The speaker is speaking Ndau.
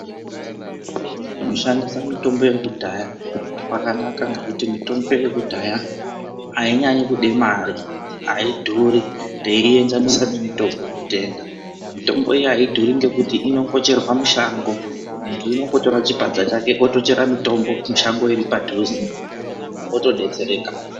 Kushandisa mitombo yekudaya kwakanaka ngekuti mitombo yekudhaya ainyanyi kude mare aidhuri teiienzanisa nemitombo yekutenga .Mitombo iyi aidhuri ngekuti inongocherwa mushango .Muntu unondotora chipadza chake otochera mitombo mushango riri padhuze otodetsereka.